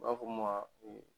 U b'a fɔ mun ma